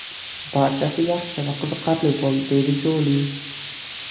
Barchasi yaxshi va qiziqarli bo‘ldi”, deydi Joli.